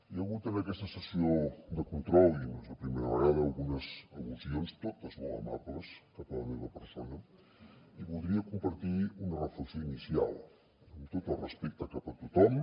hi ha hagut en aquesta sessió de control i no és la primera vegada algunes al·lusions totes molt amables cap a la meva persona i voldria compartir una reflexió inicial amb tot el respecte cap a tothom